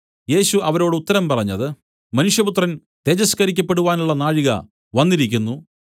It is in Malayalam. യേശു അവരോട് ഉത്തരം പറഞ്ഞത് മനുഷ്യപുത്രൻ തേജസ്കരിക്കപ്പെടുവാനുള്ള നാഴിക വന്നിരിക്കുന്നു